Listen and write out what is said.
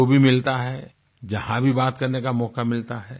जो भी मिलता है जहाँ भी बात करने का मौका मिलता है